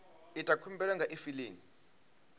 ita khumbelo nga kha efiling